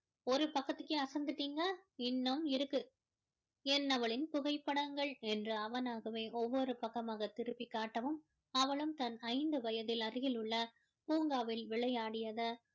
ஒரு பக்கத்துக்கே அசந்துட்டீங்க இன்னும் இருக்கு என்னவளின் புகைப்படங்கள் என்று அவனாகவே ஒவ்வொரு பக்கமாக திருப்பி காட்டவும் அவளும் தன் ஐந்து வயதில் அருகில் உள்ள பூங்காவில் விளையாடியதை